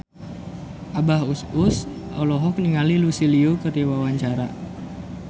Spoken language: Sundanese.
Abah Us Us olohok ningali Lucy Liu keur diwawancara